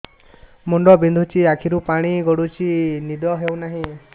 ମୁଣ୍ଡ ବିନ୍ଧୁଛି ଆଖିରୁ ପାଣି ଗଡୁଛି ନିଦ ହେଉନାହିଁ